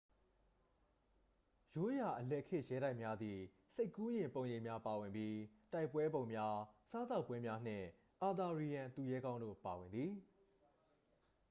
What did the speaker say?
ရိုးရာ အလယ်ခေတ်ရဲတိုက်များသည် စိတ်ကူးယဉ်ပုံရိပ်များပါဝင်ပြီး တိုင်ပွဲပုံများ စားသောက်ပွဲများနှင့် အာသာရီယန်သူရဲကောင်းတို့ပါဝင်သည်